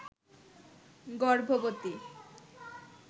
গর্ভবতী